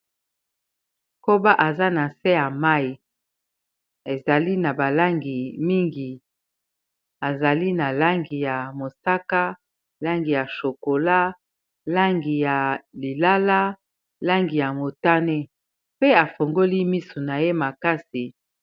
Koba aza na se ya mayi ezali na ba langi mingi azali na langi ya mosaka, langi ya chokola, langi ya lilala, langi ya motane, pe afongoli misu na ye makasi.